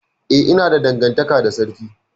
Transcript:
Eh, ina da dangantaka da sarki.